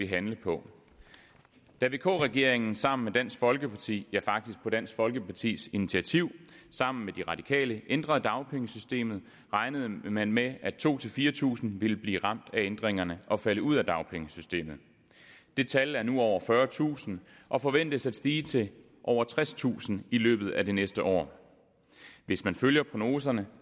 handle på da vk regeringen sammen med dansk folkeparti ja faktisk på dansk folkepartis initiativ sammen med de radikale ændrede dagpengesystemet regnede man med at to tusind fire tusind ville blive ramt af ændringerne og falde ud af dagpengesystemet det tal er nu på over fyrretusind og forventes at stige til over tredstusind i løbet af det næste år hvis man følger prognoserne